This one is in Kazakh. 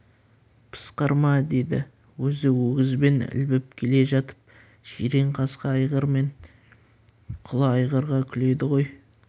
пысқырма деді өзі өгізбен ілбіп келе жатып жиренқасқа айғыр мен құла айғырға күледі ғой